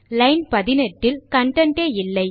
line 18 இல் content A இல்லை